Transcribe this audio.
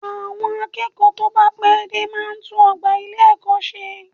Àwọn akẹ́kọ̀ọ́ tó bá pẹ́ dé máa tún ọgbà ilé-ẹ̀kọ́ ṣe